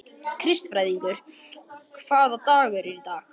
Kristfríður, hvaða dagur er í dag?